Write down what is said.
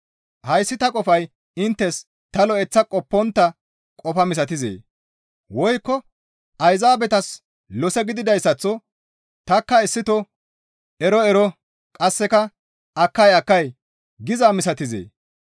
Hayssi ta qofay inttes ta lo7eththa qoppontta qofa misatizee? Woykko Ayzaabetas lose gididayssaththo tanikka issito, «Ero ero, qasseka akkay akkay» gizaa misatizee?